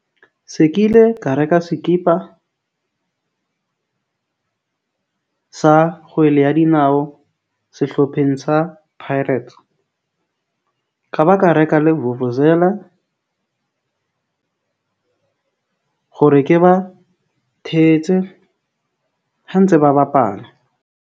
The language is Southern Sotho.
Se ke ile ka reka sekipa sa kgwele ya dinao sehlopheng sa Pirates ka ba ka reka le vuvuzela hore ke ba thetse ha ntse ba bapala.